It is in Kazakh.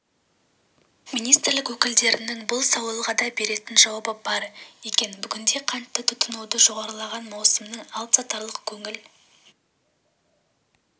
министрлік өкілдерінің бұл сауалға да беретін жауабы бар екен бүгінде қантты тұтынуы жоғарылаған маусымның алыпсатарлық көңіл